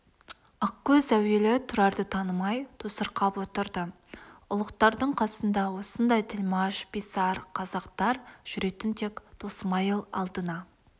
ақкөз әуелі тұрарды танымай тосырқап отырды ұлықтардың қасында осындай тілмаш писарь қазақтар жүретін тек досмайыл алдына